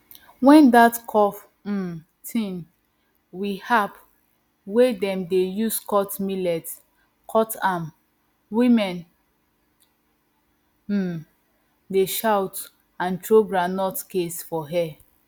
when that curve um thing we aharp wey dem dey use cut millet cut am women um dey shout and throw groundnut case for air